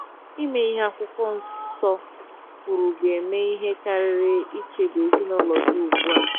Ime ihe akwụkwo nsọ kwuru ga - eme ihe karịrị ichebe ezinụlọ gị ugbu a.